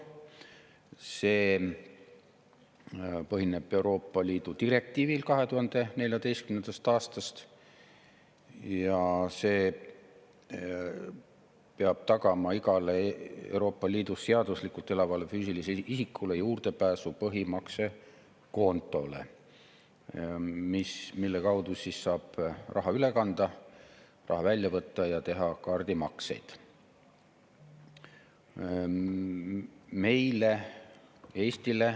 See põhineb Euroopa Liidu direktiivil 2014. aastast ja see peab tagama igale Euroopa Liidus seaduslikult elavale füüsilisele isikule juurdepääsu põhimaksekontole, mille kaudu saab raha üle kanda ja välja võtta ning teha kaardimakseid.